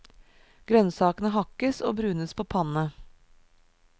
Grønnsakene hakkes og brunes på panne.